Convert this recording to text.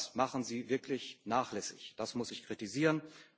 Denn das machen sie wirklich nachlässig das muss ich kritisieren.